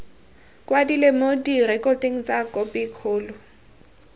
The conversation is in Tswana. kwadilwe mo direkotong tsa khopikgolo